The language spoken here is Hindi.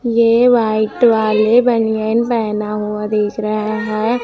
ये व्हाईट वाले बनियान पहना हुआ दिख रहा है।